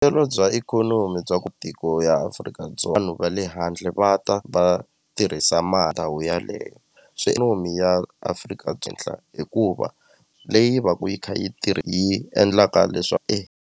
Vuyelo bya ikhonomi bya ku tiko ya Afrika-Dzonga vanhu va le handle va ta va tirhisa ndhawu yaleyo ya Afrika byi endla hikuva leyi va ku yi kha yi yi endlaka .